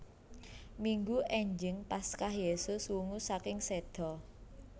Minggu énjing Paskah Yesus wungu saking séda